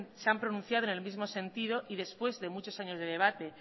se han pronunciado en el mismo sentido y después de muchos años de debate